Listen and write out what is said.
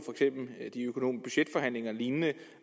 budgetforhandlinger og lignende